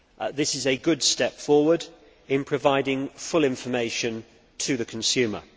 This is a good step forward in providing full information to the consumer.